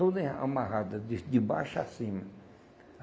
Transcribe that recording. Toda amarrada, de de baixo a cima.